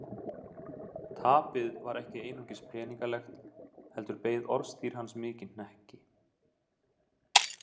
Tapið var ekki einungis peningalegt heldur beið orðstír hans mikinn hnekki.